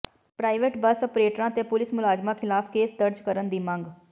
private bus ਅਪਰੇਟਰਾਂ ਤੇ police ਮੁਲਾਜ਼ਮਾਂ ਖ਼ਿਲਾਫ਼ ਕੇਸ ਦਰਜ ਕਰਨ ਦੀ ਮੰਗ